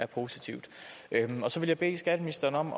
positivt så vil jeg bede skatteministeren om